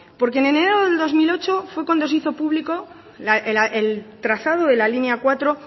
porque en enero del dos mil ocho fue cuando se hizo público el trazado de la línea cuatro